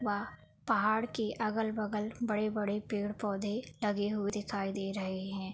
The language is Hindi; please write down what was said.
वाह पहाड़ के अगल बगल बड़े-बड़े पेड़ पौधे लगे हुए दिखाई दे रहे हैं।